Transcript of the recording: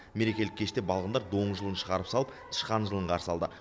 мерекелік кеште балғындар доңыз жылын шығарып салып тышқан жылын қарсы алды